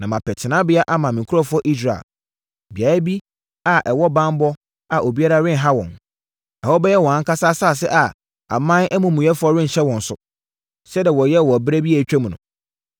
Na mapɛ tenaberɛ ama me nkurɔfoɔ Israel; beaeɛ bi a ɛwɔ banbɔ a obiara renha wɔn. Ɛhɔ bɛyɛ wɔn ankasa asase a aman amumuyɛfoɔ renhyɛ wɔn so, sɛdeɛ wɔyɛɛ wɔ ɛberɛ bi a atwam no,